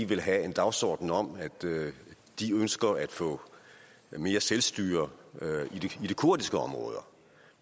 vil have en dagsorden om at de ønsker at få mere selvstyre i de kurdiske områder